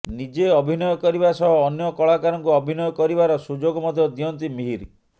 ନିଜେ ଅଭିନୟ କରିବା ସହ ଅନ୍ୟ କଳାକାରଙ୍କୁ ଅଭିନୟ କରିବାର ସୁଯୋଗ ମଧ୍ୟ ଦିଅନ୍ତି ମିହିର